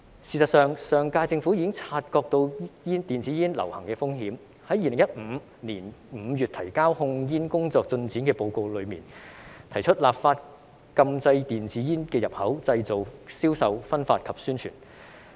事實上，上屆政府已經察覺到電子煙流行的風險，在2015年5月提交控煙工作進展的報告中，提出立法禁制電子煙的入口、製造、銷售、分發及宣傳。